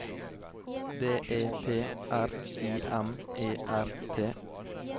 D E P R I M E R T